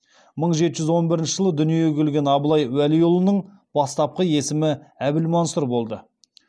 мың жеті жүз он бірінші жылы дүниеге келген абылай уәлиұлының бастапқы есімі әбілмансұр болды